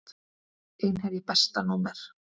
Einherji Besta númer?